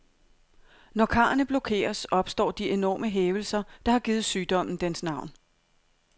Når karrene blokeres, opstår de enorme hævelser, der har givet sygdommen dens navn.